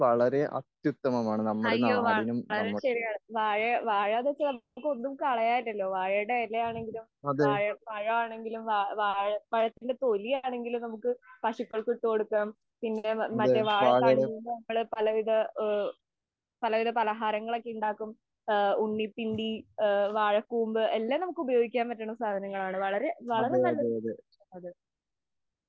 അയ്യോ വളരെ ശരിയാണ്.വാഴാ വാഴാ അതൊക്കെ നമുക്ക് ഒന്നും കളയാനില്ലലോ വാഴേടെ ഇല ആണെങ്കിലും വാഴ പഴമാണെങ്കിലും വാഴ പഴയതിന്റെ തൊലിയാണെങ്കിലും നമുക് പശുക്കൾക്ക് ഇട്ടു കൊടുക്കാം പിന്നെ വാഴ തണ്ടുകൊണ്ടു പലവിധ പലഹാരങ്ങൾ ഇണ്ടാകാം ഉണ്ണി പിണ്ടി വാഴ കൂമ്പ് എല്ലാം നമുക് ഉഉപയോഗിക്കാൻ പറ്റുന്ന സാധനങ്ങളാണ് വളരെ നല്ല കൃഷി ആണ് അത്.